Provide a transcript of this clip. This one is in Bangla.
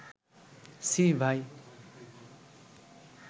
ছি ভাই